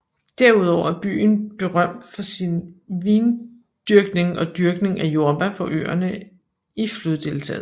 Derudover er byen berømt for sin vindyrkning og dyrkning af jordbær på øerne i floddeltaet